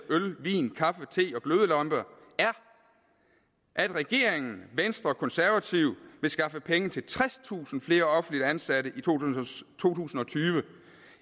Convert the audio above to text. øl vin kaffe te og glødelamper er at regeringen venstre og konservative vil skaffe penge til tredstusind flere offentligt ansatte i to tusind og tyve